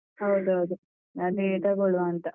ಹೌದೌದು. ಅದೇ ತೊಗೊಳುವ ಅಂತ.